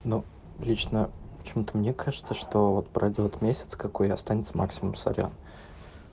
ну лично почему-то мне кажется что вот пройдёт месяц какой останется максимум сорян